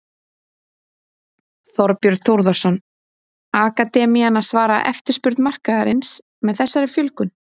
Þorbjörn Þórðarson: Akademían að svara eftirspurn markaðarins með þessari fjölgun?